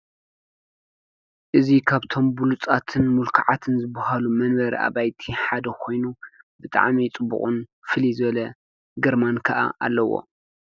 እዚ ካብቶም ብሉፃትን ምልኩዓትን ዝብሃሉ መንበሪ ኣባይቲ ሓደ ኮይኑ ብጣዕሚ ፅቡቅ ፍልይ ዝበለ ግርማ ከኣ ኣለዎ።